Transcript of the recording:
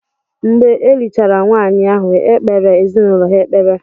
Mgbe e lichara nwaanyị ahụ, e kpeere ezinaụlọ ha ekpere.